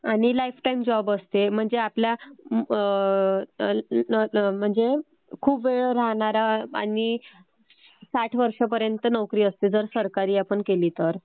आणि lifetime job असते, म्हणजे खूप वेळ राहणारा आणि साठ वर्षांपर्यंत आपली नोकरी असते जर सरकारी आपण केली तर